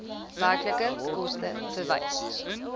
werklike koste verwys